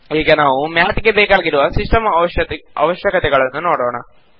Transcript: ಈಗ ನಾವು ಮ್ಯಾತ್ ಗೆ ಬೇಕಾಗಿರುವ ಸಿಸ್ಟಂ ಅವಶ್ಯಕತೆಗಳನ್ನು ನೋಡೋಣ